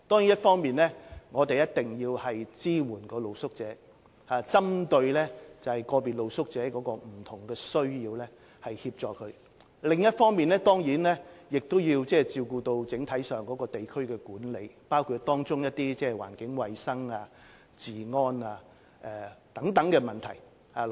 一方面，我們要支援露宿者，並針對個別露宿者不同需要提供協助；另一方面，我們要照顧整體上的地區管理，包括環境衞生、治安等問題。